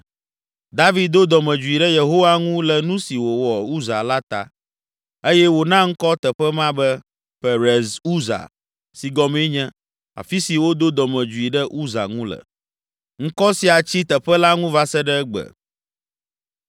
David do dɔmedzoe ɖe Yehowa ŋu le nu si wòwɔ Uza la ta eye wòna ŋkɔ teƒe ma be, Perez Uza si, gɔmee nye, “Afi si wodo dɔmedzoe ɖe Uza ŋu le.” Ŋkɔ sia tsi teƒe la ŋu va se ɖe egbe.